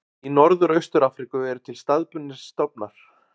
Í Norður og Austur-Afríku eru til staðbundnir stofnar.